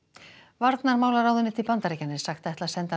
varnarmálaráðuneyti Bandaríkjanna er sagt ætla að senda